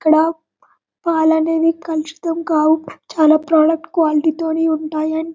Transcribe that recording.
ఇక్కడ పాలు అనేది కలుషితం కావు చాల ప్రోడక్ట్ క్వాలిటీ తోని ఉంటాయి అని --.